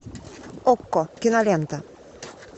окко кинолента